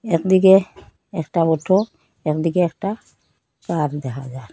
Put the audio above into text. একদিকে একটা অটো একদিকে একটা পাহাড় দেখা যায়।